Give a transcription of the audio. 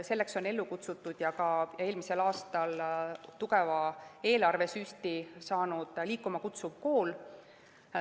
Selleks on ellu kutsutud ka eelmisel aastal tugeva eelarvesüsti saanud Liikuma Kutsuv Kool.